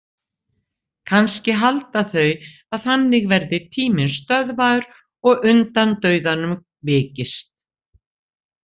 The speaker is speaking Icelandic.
Kannski halda þau að þannig verði tíminn stöðvaður og undan dauðanum vikist.